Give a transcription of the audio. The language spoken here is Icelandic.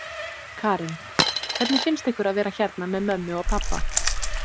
Karen: Hvernig finnst ykkur að vera hérna með mömmu og pabba?